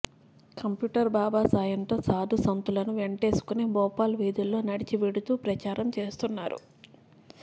computer Baba సాయంతో సాధు సంతులను వెంటేసుకుని భోపాల్ వీధుల్లో నడచి వెడుతూ ప్రచారం చేస్తున్నారు